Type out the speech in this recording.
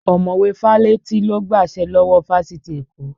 Ọmọ̀wé Fálétí ló gbàṣẹ lọ́wọ́ Fáfitì Èkó